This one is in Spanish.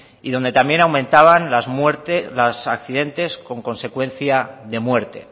y donde también aumentaban los accidentes con consecuencia de muerte